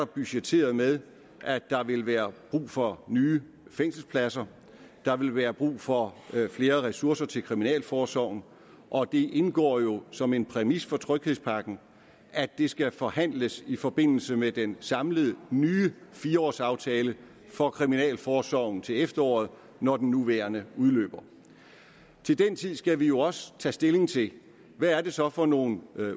budgetteret med at der vil være brug for nye fængselspladser der vil være brug for flere ressourcer til kriminalforsorgen og det indgår jo som en præmis for tryghedspakken at det skal forhandles i forbindelse med den samlede nye fire års aftale for kriminalforsorgen til efteråret når den nuværende udløber til den tid skal vi jo også tage stilling til hvad det så er for nogle